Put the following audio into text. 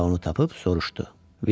Burada onu tapıb soruşdu.